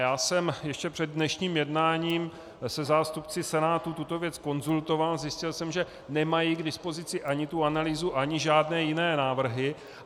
Já jsem ještě před dnešním jednáním se zástupci Senátu tuto věc konzultoval, zjistil jsem, že nemají k dispozici ani tu analýzu, ani žádné jiné návrhy.